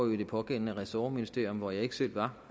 jo i det pågældende ressortministerium hvor jeg ikke selv var